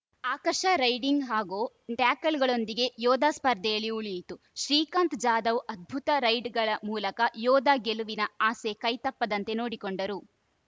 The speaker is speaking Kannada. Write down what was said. ಆಕರ್ಷ ರೈಡಿಂಗ್‌ ಹಾಗೂ ಟ್ಯಾಕಲ್‌ಗಳೊಂದಿಗೆ ಯೋಧಾ ಸ್ಪರ್ಧೆಯಲ್ಲಿ ಉಳಿಯಿತು ಶ್ರೀಕಾಂತ್‌ ಜಾಧವ್‌ ಅದ್ಭುತ ರೈಡ್‌ಗಳ ಮೂಲಕ ಯೋಧಾ ಗೆಲುವಿನ ಆಸೆ ಕೈತಪ್ಪದಂತೆ ನೋಡಿಕೊಂಡರು